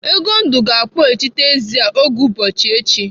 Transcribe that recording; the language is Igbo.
Egondụ ga-akpọghachite ezi a oge ugbua echi.